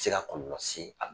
se ka kɔlɔlɔ se a ma.